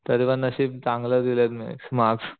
तरी पण नशीब चांगलं दिल मी मार्क्स